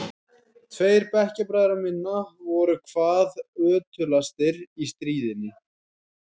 Tveir bekkjarbræðra minna voru hvað ötulastir í stríðninni.